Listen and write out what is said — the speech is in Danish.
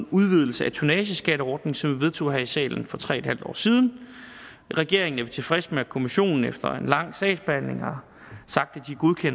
udvidelsen af tonnageskatteordningen som vi vedtog her i salen for tre en halv år siden i regeringen er vi tilfredse med at kommissionen efter en lang sagsbehandling har sagt